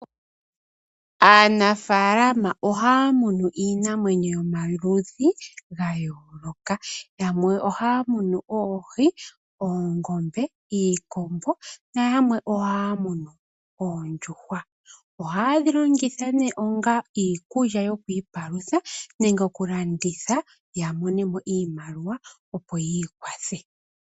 Aanafalama ohaamunu iinamwenyo yayolokathana,, yamwe ohaamunu oohi, oongombe, iikombo nayamwe ohaamunu oondjuhwa. Oondjuhwa ohaye dhi longitha onga iikulya yokwiipalutha nenge okulandathi yamonemo iimaliwa opo yiikwathe.